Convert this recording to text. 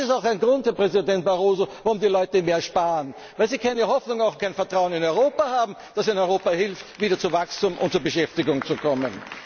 Das ist auch ein Grund, Herr Präsident Barroso, warum die Leute mehr sparen, weil sie keine Hoffnung und kein Vertrauen in Europa haben, dass ihnen Europa hilft, wieder zu Wachstum und zu Beschäftigung zu kommen.